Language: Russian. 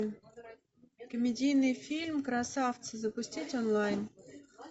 комедийный фильм красавцы запустить онлайн